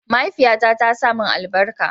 mahaifiya na ta sa mun albarka